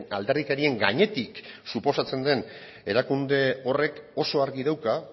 alderdikerien gainetik suposatzen den erakunde horrek oso argi dauka